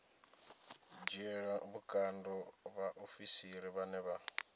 dzhiela vhukando vhaofisiri vhane vha